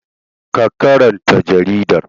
Ka karanta jaridar!